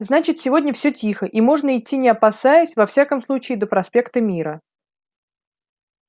значит сегодня всё тихо и можно идти не опасаясь во всяком случае до проспекта мира